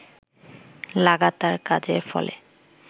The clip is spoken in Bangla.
লাগাতার কাজের ফলে